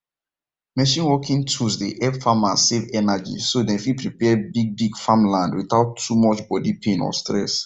machine working tools dey help farmer save energy so dem fit prepare bigbig farmland without too much body pain or stress